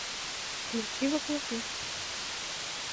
включи во плоти